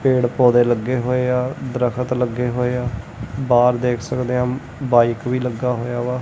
ਪੇੜ ਪੌਦੇ ਲੱਗੇ ਹੋਏ ਆ ਦਰਖਤ ਲੱਗੇ ਹੋਏ ਆ ਬਾਹਰ ਦੇਖ ਸਕਦੇ ਆਂ ਬਾਈਕ ਵੀ ਲੱਗਾ ਹੋਇਆ ਵਾ।